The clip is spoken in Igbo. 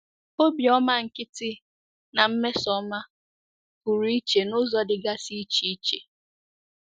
Obiọma nkịtị na mmesoọma pụrụ iche n’ụzọ dịgasị iche iche.